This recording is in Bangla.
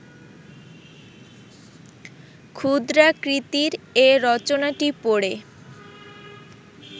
ক্ষুদ্রাকৃতির এ রচনাটি পড়ে